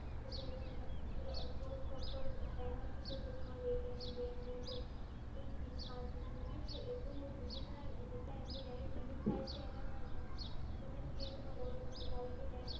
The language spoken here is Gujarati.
જે તમે force stop કર દો, એમાં શું છે કે તમારું એક MB, બે MB કે એક GB, પાંચ GB એટલું GB ના જાય જેટલા MBNET USE થાય છે એટલે તમને speed મળે. ઓલું તમે જ્યારે બી net